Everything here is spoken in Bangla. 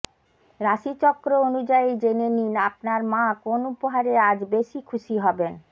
রাশিচক্র অনুযায়ী জেনে নিন আপনার মা কোন উপহারে আজ বেশি খুশি হবেন